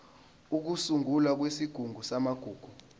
ukusungulwa kwesigungu samagugu